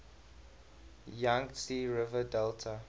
yangtze river delta